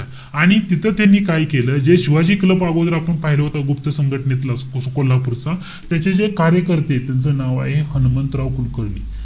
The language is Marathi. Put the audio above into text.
आणि तिथं त्यांनी काय केलं? जे शिवाजी क्लब अगोदर आपण पाहिलं होत, गुप्त संघटनेतला, कोल्हापूरचा. त्याचे जे कार्यकर्ते, त्यांचं नाव आहे हनुमंतराव कुलकर्णी.